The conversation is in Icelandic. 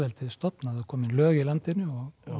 stofnað og komin lög í landinu og